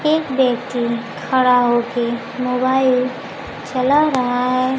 एक व्यक्ति खड़ा होके मोबाइल चला रहा है।